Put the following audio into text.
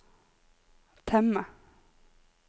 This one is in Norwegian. temme